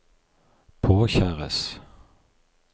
påkjæres